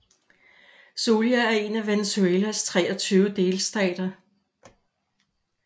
Zulia er en af Venezuelas 23 delstater